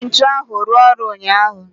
eji ntu ahu rua oru unyahu